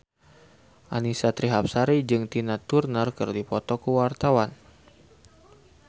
Annisa Trihapsari jeung Tina Turner keur dipoto ku wartawan